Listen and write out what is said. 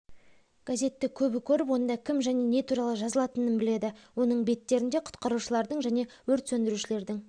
газетті көбі көріп онда кім және не туралы жазылатынын біледі оның беттерінде құтқарушылардың және өрт сөндірушілердің